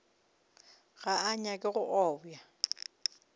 ga a nyake go obja